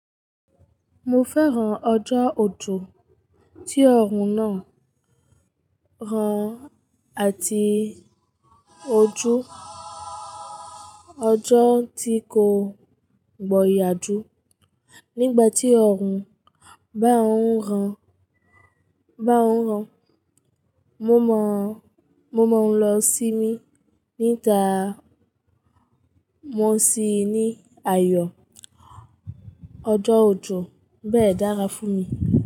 Mo fẹ́ran ọjọ́ ojò, tí ọ̀run náà rán àti ojú ọjọ́ tí kò gbọ̀yà jú. Nígbà tí ọ̀run bá ń rán, mo mọ̀ ọ́n lọ sí mi, níta mo sì ní ayọ̀. Ọjọ́ ojò bẹ́ẹ̀ dára fún mi.